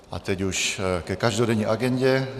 A teď už ke každodenní agendě.